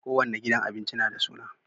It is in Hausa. kowanne gidan abinci nada suna